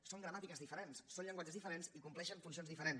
són gramàtiques diferents són llenguatges diferents i compleixen funcions diferents